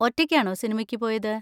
ഒറ്റയ്ക്കാണോ സിനിമയ്ക്ക് പോയത്?